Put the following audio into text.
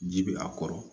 Ji bɛ a kɔrɔ